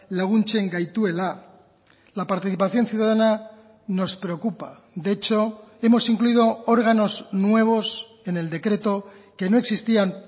laguntzen gaituela la participación ciudadana nos preocupa de hecho hemos incluido órganos nuevos en el decreto que no existían